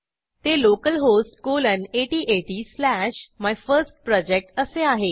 ते localhost colon 8080 slash my first project असे आहे